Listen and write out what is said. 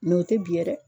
o tɛ biɲɛ yɛrɛ